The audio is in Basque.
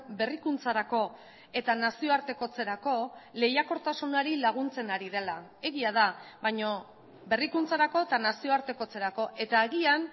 berrikuntzarako eta nazioartekotzerako lehiakortasunari laguntzen ari dela egia da baina berrikuntzarako eta nazioartekotzerako eta agian